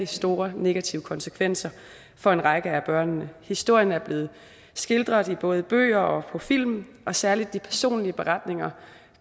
store negative konsekvenser for en række af børnene historien er blevet skildret i både bøger og på film og særlig de personlige beretninger